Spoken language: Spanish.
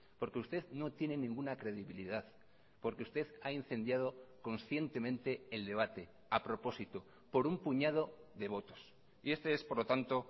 porque usted no tiene ninguna credibilidad porque usted ha incendiado conscientemente el debate a propósito por un puñado de votos y este es por lo tanto